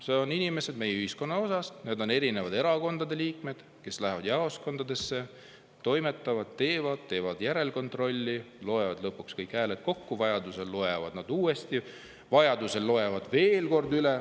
Need inimesed on meie ühiskonna osa: need on erinevate erakondade liikmed, kes lähevad jaoskondadesse, toimetavad seal, teevad järelkontrolli, loevad lõpuks kõik hääled kokku ja vajadusel loevad veel kord üle.